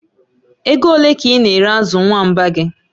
Ego ole ka ị na-ere azụ nwamba gị?